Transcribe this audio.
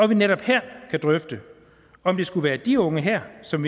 vi netop her kan drøfte om det skulle være de unge her som